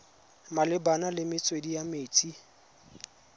malebana le metswedi ya metsi